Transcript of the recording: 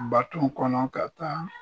Baton kɔnɔ ka taa